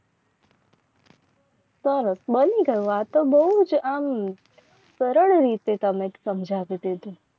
સરસ બંદી કરવા તો બહુ આ કઈ રીતે તમે સમજાવી દીધું.